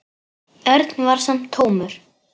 Örn var sem tómur.